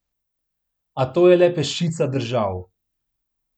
A to je le peščica držav.